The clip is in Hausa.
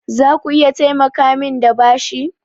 Zaku iya taimakamin da bashi?